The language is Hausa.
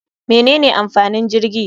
Menene amfanin jirgi?